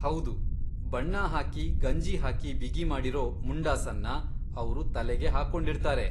ಹೌದು! ಬಣ್ಣ ಹಾಕಿ ಗಂಜಿ ಹಾಕಿ ಬಿಗಿಮಾಡಿರೊ ಮುಂಡಾಸನ್ನ ಅವ್ರು ತಲೆಗೆ ಹಾಕೊಂಡಿರ್ತಾರೆ.